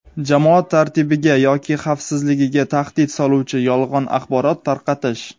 jamoat tartibiga yoki xavfsizligiga tahdid soluvchi yolg‘on axborot tarqatish;.